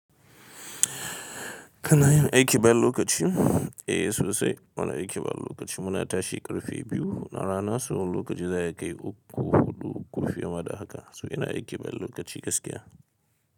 Kana yin aiki bayan lokaci? Eh sosai muna aiki bayan lokaci. Muna tashi ƙarfe biyu na rana sau lokaci za a kai uku, huɗu, uku fiye ma da haka. So ina aiki ban lokaci gaskiya.